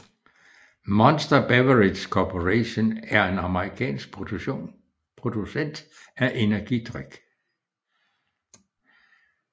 Monster Beverage Corporation er en amerikansk producent af energidrik